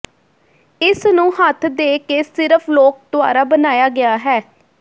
ਇਸ ਨੂੰ ਹੱਥ ਦੇ ਕੇ ਸਿਰਫ ਲੋਕ ਦੁਆਰਾ ਬਣਾਇਆ ਗਿਆ ਹੈ